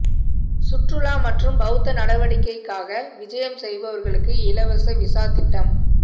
சுற்றுலா மற்றும் பௌத்த நடவடிக்கைக்காக விஜயம் செய்பவர்களுக்கு இலவச விசா திட்டம்